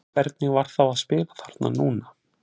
Hvernig var þá að spila þarna núna?